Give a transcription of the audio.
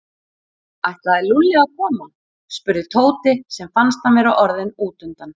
Ætlaði Lúlli að koma? spurði Tóti sem fannst hann vera orðinn útundan.